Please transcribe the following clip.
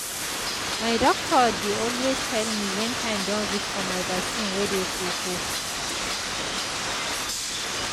my doctor dey always tell me wen time don reach for my vaccine wey dey koko